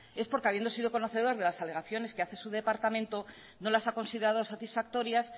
es porque habiendo sido conocedor de las alegaciones que hace su departamento no las ha considerado satisfactorias